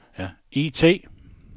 IT